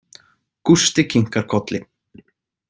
Gústi kinkar kolli.